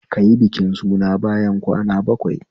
Kayi bikin suna bayan kwana bakwai